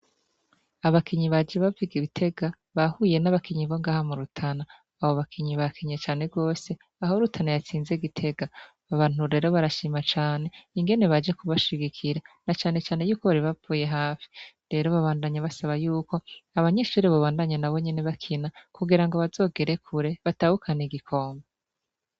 Abakinyi baje baviga ibitega bahuye n'abakinyi bongaha murutana abo bakinyi ba kinye cane rwose aho rutana yatsinze gitega babantu rero barashima cane ingene baje kubashigikira na canecane yuko baribapfuye hafi rero babandanye basaba yuko abanyishuri bobandanya na bo nyene bakina kugira ngo bazogereku re batabukana igikomba.